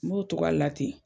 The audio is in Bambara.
N b'o togoya de la ten.